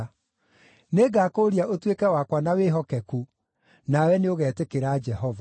Nĩngakũũria ũtuĩke wakwa na wĩhokeku, nawe nĩũgetĩkĩra Jehova.”